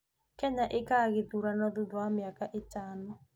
Kenya ĩĩkaga ithuurano thuutha wa mĩaka ĩtaano